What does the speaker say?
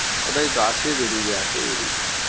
ওটাই তো আসে বেরিয়ে যায় আসে বেরিয়ে যায়।